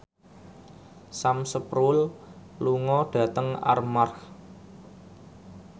Sam Spruell lunga dhateng Armargh